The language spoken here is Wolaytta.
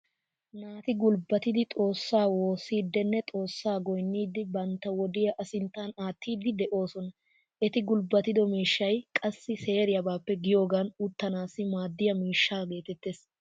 Naati gulbbatidi xoossaa woossiiddinne xoossaassi goyniiddi bantta wodiya a sinttan aattiiddi de'ooson. Eti gulbbatido miishshay qassi seeriyabaappe giigiyogan uttanaassi maaddiya miishsha geetettees.